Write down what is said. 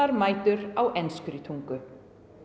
mætur á enskri tungu